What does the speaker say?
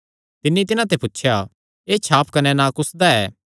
तिन्नी तिन्हां ते पुछया एह़ छाप कने नां कुसदा ऐ